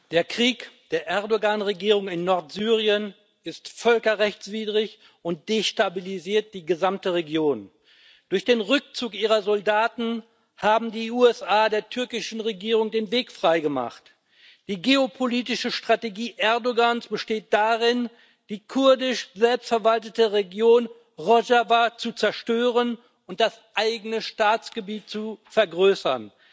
Frau Präsidentin! Der Krieg der Regierung Erdoğan in Nordsyrien ist völkerrechtswidrig und destabilisiert die gesamte Region. Durch den Rückzug ihrer Soldaten haben die USA der türkischen Regierung den Weg frei gemacht. Die geopolitische Strategie Erdoğans besteht darin, die kurdisch selbstverwaltete Region Rojava zu zerstören und das eigene Staatsgebiet zu vergrößern.